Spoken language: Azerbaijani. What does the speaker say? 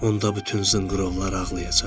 Onda bütün zınqırovlar ağlayacaq.